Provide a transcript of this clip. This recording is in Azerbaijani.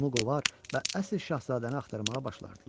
Onu qovar və əsl şahzadəni axtarmağa başlardılar.